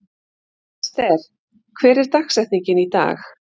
Ester, hver er dagsetningin í dag?